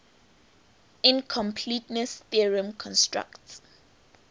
incompleteness theorem constructs